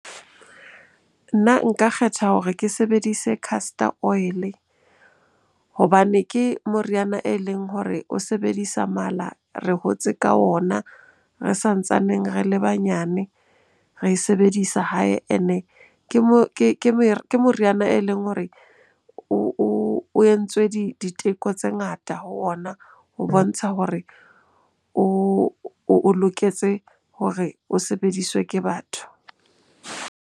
Nna nka kgetha hore ke sebedise castor oil-e hobane ke moriana e leng hore o sebedisa mala. Re hotse ka ona re sa ntsaneng re le banyane, re e sebedisa hae and-e ke mo moriana e leng hore o entswe diteko tse ngata ho ona ho bontsha hore o loketse hore o sebediswe ke batho.